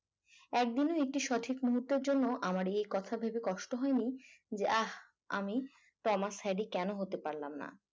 একদিনের একটি সঠিক মুহূর্তের জন্য আমার এই কথা ভেবে কষ্ট হয়নি যাহ আমি ক্রমাস হ্যারি কেন হতে পারলাম না